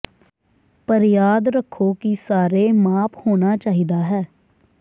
ਪਰ ਯਾਦ ਰੱਖੋ ਕਿ ਸਾਰੇ ਮਾਪ ਹੋਣਾ ਚਾਹੀਦਾ ਹੈ